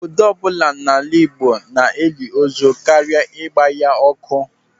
Obodo ọbụla n'ala Igbo na-eli ozu karịa ịgba ya ọkụ.